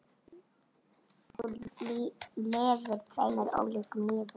Þú lifðir tveimur ólíkum lífum.